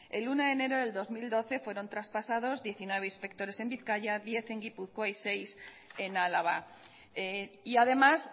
el uno de enero del dos mil doce fueron traspasados diecinueve inspectores en bizkaia diez en gipuzkoa y seis en álava y además